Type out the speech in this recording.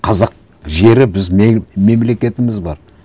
қазақ жері біз мемлекетіміз бар